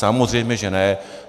Samozřejmě že ne.